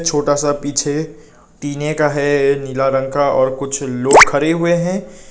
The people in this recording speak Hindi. छोटा सा पीछे टीने का है नीला रंग का और कुछ लोग खड़े हुए हैं।